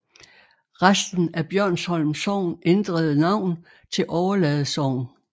Resten af Bjørnsholm Sogn ændrede navn til Overlade Sogn